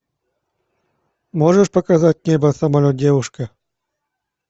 можешь показать небо самолет девушка